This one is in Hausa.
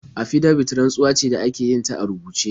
Afidabit rantsuwa ce da ake yin ta a rubuce.